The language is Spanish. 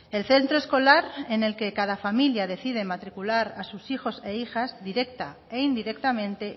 el centro escolar en el que cada familia decide matricular a sus hijos e hijas directa e indirectamente